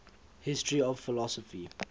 history of philosophy